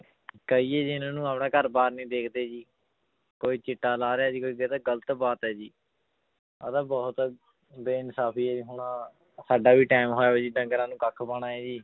ਕਹੀਏ ਜੀ ਇਹਨਾਂ ਨੂੰ ਆਪਣਾ ਘਰ ਬਾਰ ਨੀ ਦੇਖਦੇ ਜੀ ਕੋਈ ਚਿੱਟਾ ਲਾ ਰਿਹਾ ਜੀ ਕੋਈ ਗ਼ਲਤ ਬਾਤ ਹੈ ਜੀ, ਇਹ ਤਾਂ ਬਹੁਤ ਬੇਇਨਸਾਫ਼ੀ ਹੈ ਹੁਣ ਸਾਡਾ ਵੀ time ਜੀ ਡੰਗਰਾਂ ਨੂੰ ਕੱਖ ਪਾਉਣਾ ਹੈ ਜੀ